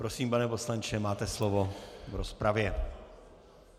Prosím, pane poslanče, máte slovo v rozpravě.